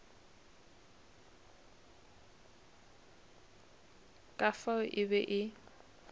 ka fao e be e